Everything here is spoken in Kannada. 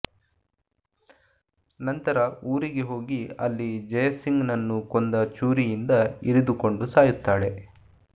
ನಂತರ ಊರಿಗೆ ಹೋಗಿ ಅಲ್ಲಿ ಜಯಸಿಂಗ್ನನ್ನು ಕೊಂದ ಚೂರಿಯಿಂದ ಇರಿದುಕೊಂಡು ಸಾಯುತ್ತಾಳೆ